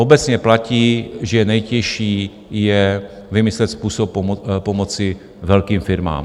Obecně platí, že nejtěžší je vymyslet způsob pomoci velkým firmám.